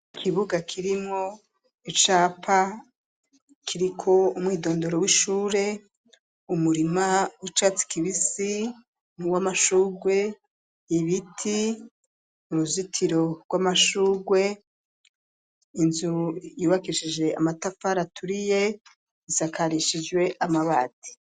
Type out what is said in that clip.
Ikibuga kirimwo icapa ,kiriko umwidondoro w'ishure ,umurima ,w'icatsi kibisi ,nu w'amashugwe ,ibiti ,uruzitiro rw'amashugwe ,inzu yubakishije amatafa aturiye ,isakarishijwe amabati.